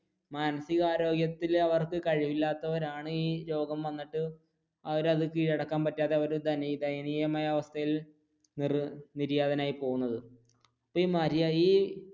മാനസിക ആരോഗ്യത്തിൽ അവർക്ക് കഴിവില്ലാത്തവരാണ് ഈ രോഗം വന്നിട്ട് അവർ അത് കീഴടക്കാൻ പറ്റാതെ അവർ ദയനീയമായ അവസ്ഥയിൽ നിർനിര്യാതനായി പോകുന്നത്